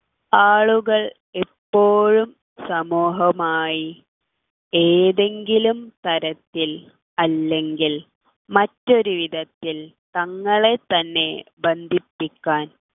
ആളുകൾ എപ്പോഴും സമൂഹമായി ഏതെങ്കിലും തരത്തിൽ അല്ലെങ്കിൽ മറ്റൊരു വിധത്തിൽ തങ്ങളെ തന്നെ ബന്ധിപ്പിക്കാൻ